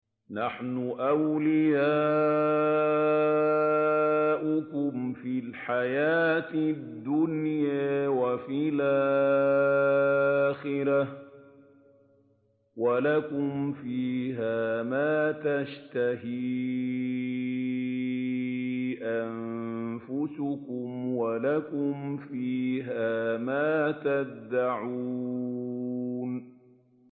نَحْنُ أَوْلِيَاؤُكُمْ فِي الْحَيَاةِ الدُّنْيَا وَفِي الْآخِرَةِ ۖ وَلَكُمْ فِيهَا مَا تَشْتَهِي أَنفُسُكُمْ وَلَكُمْ فِيهَا مَا تَدَّعُونَ